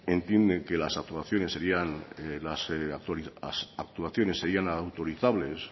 entiende que las actuaciones serían autorizables